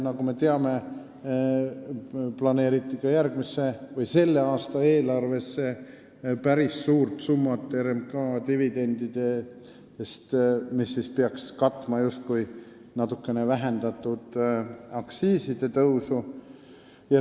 Nagu me teame, planeeriti ka selle aasta eelarvesse päris suur summa RMK dividendidest, mis peaks justkui katma natukene vähendatud aktsiisitõusu.